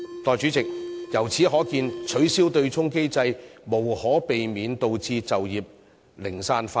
代理主席，由此可見，取消對沖機制將無可避免導致就業零散化。